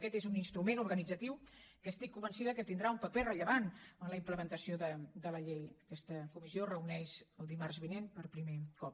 aquest és un instrument organitzatiu que estic convençuda que tindrà un paper rellevant en la implementació de la llei aquesta comissió es reuneix el dimarts vinent per primer cop